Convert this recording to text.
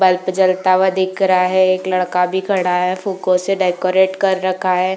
Bulb जलता हुआ दिख रहा है। एक लड़का भी दिख रहा है। फुग्गो से डेकोरेट कर रखा है।